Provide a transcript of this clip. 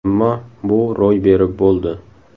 Ammo bu ro‘y berib bo‘ldi.